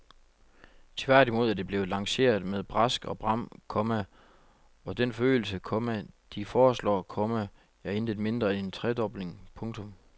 Tværtimod er det blevet lanceret med brask og bram, komma og den forøgelse, komma de foreslår, komma er intet mindre end en tredobling. punktum